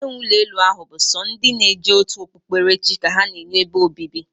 Onye nwe ụlọ elu ahụ bu so ndị na eje otu Okpụkpere chị ka ana-enye ebe obibi